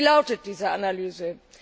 Wie lautet diese Analyse?